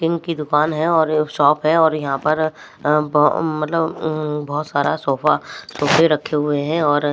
king की दुकान है और शॉप है और यहां पर अ मतलब अ बहुत सारा सोफा रखे हुए हैं और--